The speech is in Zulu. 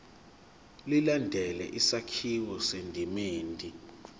ilandele isakhiwo esisendimeni